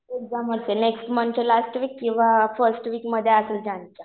Exam असेल. Next मन्थच्या last week किंवा फर्स्ट वीक मध्ये असेल ज्यानच्या.